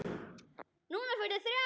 Núna fyrir þrjá.